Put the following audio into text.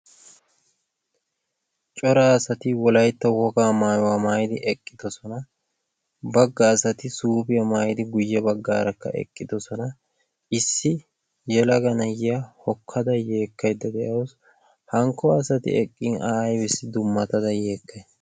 Cora asati wolaytta wogaa maayuwa maayidi eqqidosona. Bagga asatikka suufiya maayidi guyye baggaarakka eqqidosona. Issi yelaga na"iya hokkada yeekkaydda de"awus. Hankko asati eqqin a aybissi dummatada yeekkayi?